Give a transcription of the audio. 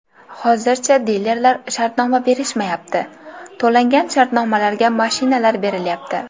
Hozircha dilerlar shartnoma berishmayapti, to‘langan shartnomalarga mashinalar berilyapti.